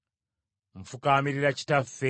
Nfukaamirira Kitaffe,